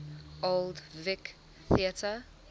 old vic theatre